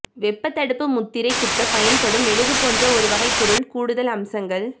வெப்பத்தடுப்பு முத்திரை குத்தப் பயன்படும் மெழுகு போன்ற ஒரு வகைப் பொருள் கூடுதல் அம்சங்கள்